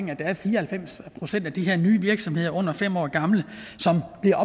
der er fire og halvfems procent af de her nye virksomheder under fem år gamle som bliver